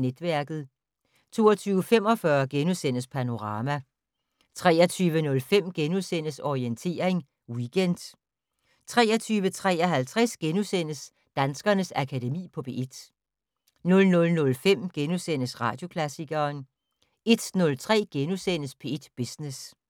Netværket * 22:45: Panorama * 23:05: Orientering Weekend * 23:53: Danskernes Akademi på P1 * 00:05: Radioklassikeren * 01:03: P1 Business *